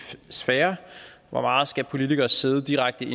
sfære hvor meget skal politikere sidde direkte